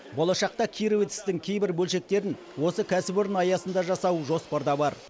болашақта кировецтің кейбір бөлшектерін осы кәсіпорын аясында жасау жоспарда бар